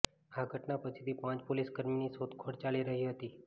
આ ઘટના પછીથી પાંચ પોલીસકર્મીની શોધખોળ ચાલી રહી હતી